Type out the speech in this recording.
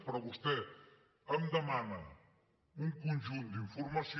però vostè em demana un conjunt d’informació